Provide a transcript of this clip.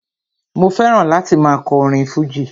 Mo fẹ́ràn láti máa kọ orin fújì